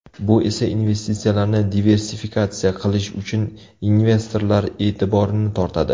Bu esa investitsiyalarni diversifikatsiya qilish uchun investorlar e’tiborini tortadi.